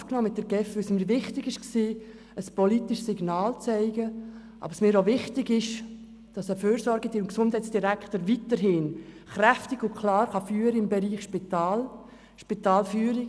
Ich habe mit der GEF Kontakt aufgenommen, weil ich ein politisches Signal aussenden will, aber es mir auch wichtig ist, dass der Gesundheits- und Fürsorgedirektor weiterhin im Spitalbereich stark und klar führen kann.